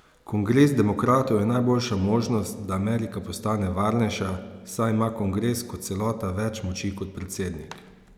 Kongres demokratov je najboljša možnost, da Amerika postane varnejša, saj ima kongres kot celota več moči kot predsednik.